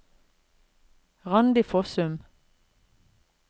Randi Fossum